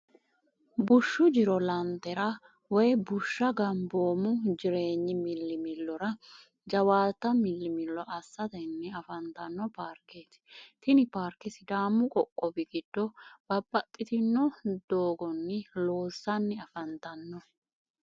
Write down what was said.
bushu jiro laantera woyi bushsha gobboomu jireenyi millimilora jawaata millimillo assitanni afantanno paarketi. tini paarke sidaamu qoqqowi giddo babbaxxitinno dooganni loosanni afantanno.